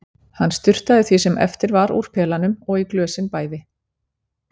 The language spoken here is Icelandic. Hann sturtaði því sem eftir var úr pelanum og í glösin bæði.